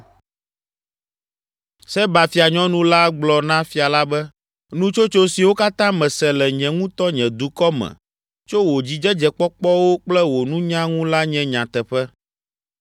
Seba fianyɔnu la gblɔ na fia la be, “Nutsotso siwo katã mese le nye ŋutɔ nye dukɔ me tso wò dzidzedzekpɔkpɔwo kple wò nunya ŋu la nye nyateƒe.